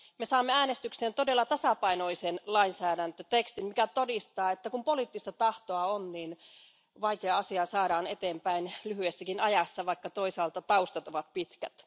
Me saamme äänestykseen todella tasapainoisen lainsäädäntötekstin, mikä todistaa, että kun poliittista tahtoa on, niin vaikea asia saadaan eteenpäin lyhyessäkin ajassa, vaikka toisaalta taustat ovat pitkät.